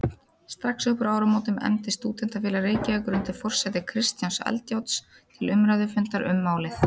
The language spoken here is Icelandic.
Strax uppúr áramótum efndi Stúdentafélag Reykjavíkur undir forsæti Kristjáns Eldjárns til umræðufundar um málið.